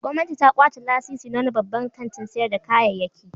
Gwamnati ta kwace lasisi na wani babban kantin sayar da kayayyki.